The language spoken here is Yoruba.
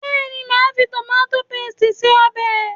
Bẹ́ẹ̀ni, màá fi tòmátó pésìtì ṣe ọbẹ̀